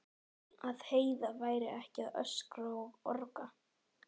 Að Heiða væri ekki að öskra og orga.